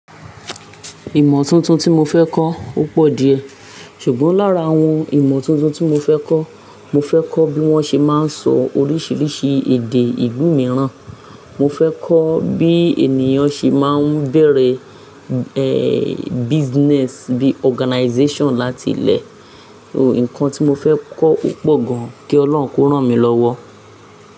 Ìmọ̀ tuntun tí mo fẹ́ kọ́ o pọ̀ díẹ̀, ṣùgbọ́n lára àwọn ìmọ̀ tuntun tí mo fẹ́ kọ́, mo fẹ́ kọ́ bí wọ́n ṣe máa ń sọ oríṣiríṣi èdè ìlú mìíràn, mo fẹ́ kọ́ bí ènìyàn ṣe máa ń bẹ̀rẹ̀, eeh, business bí organization láti ilẹ̀ so, nǹkan tí mo fẹ́ kọ́ o pọ̀ gan. Kí Ọlọ́run kó rán mi lọ́wọ́.